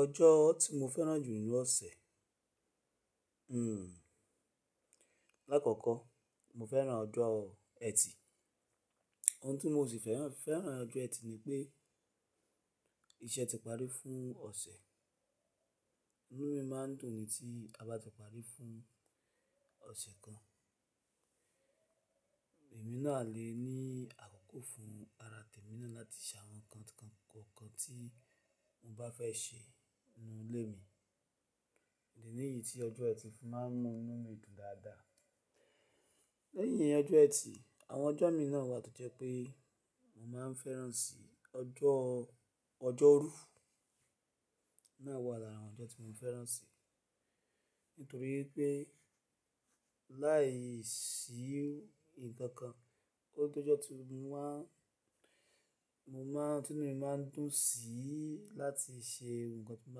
Ọjọ́ tí mo fẹ́ràn jù nínú ọ̀sẹ̀, lákọ̀ọ̀kọ́ mo fẹ́ràn ọjọ́ ẹtì. Oun tí mo sì fẹ́ràn nínu ọjọ́ ẹtì ni pé iṣẹ́ ti parí fún ọ̀sẹ̀. Inú mi máa ń dùn ni tí a bá ti parí fún ọ̀sẹ̀ kan. Èmi náà lè ní àkókò fún ara tèmi náà láti ṣe àwọn nǹkan kọ̀ọ̀kan tí mo bá fẹ́ ṣe nínú ilé mi. Idi níyì tí ọjọ́ ẹtì fi máa ń mú inú mi dùn dáadáa. Lẹ́yìn ọjọ́ ẹtì, àwọn ọjọ́ mi náà wà tó jẹ́ pé mo máa ń fẹ́ràn sí ọjọ́, ọjọ́rú náà wà lára àwọn ọjọ́ tí mo fẹ́ràn sì. Nítorí pé láìsí nǹkan kan, kó tó jọ́ tí mo máa, mo máa, tí inú mi máa ń dùn sí láti ṣe nǹkan tí mo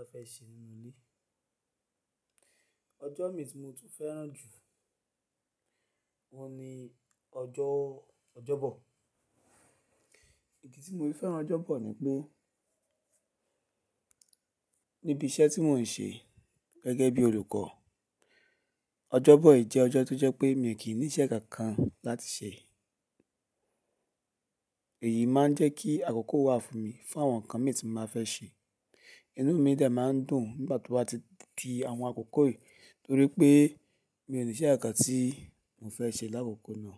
bá fẹ́ ṣe nínú ilé. Ọjọ́ mi tí mo tún fẹ́ràn jù wọn ni ọjọ́, ọjọ́bọ̀. Idì tí mo fi fẹ́ràn ọjọ́bọ̀ ni pé níbi iṣẹ́ tí mò ń ṣe gẹ́gẹ́ bí olùkọ́, ọjọ́bọ̀ jẹ́ ọjọ́ tó jẹ́ pé mi ò kí ní iṣẹ́ kankan láti ṣe. Èyí máa ń jẹ́ kí àkókò wà fún mi fún àwọn nǹkan mi tí màá fẹ́ ṣe. Inú mi de máa ń dùn nígbà tó bá ti di àwọn àkókò yìí torí pé mi ò ní iṣẹ́ kankan tí mo fẹ́ ṣe lákòókò náà.